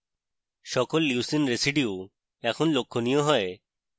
সকল leucine residues এখন লক্ষণীয় হয়